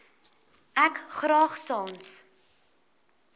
ek graag sans